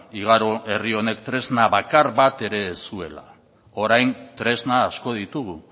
igaro herri honek tresna bakar bat ere ez zuela orain tresna asko ditugu